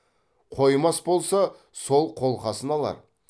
қоймас болса сол қолқасын алар